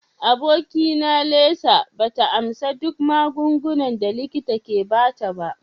Abokina Lisa ba ta amsa duk magungunan da likita ke ba ta ba.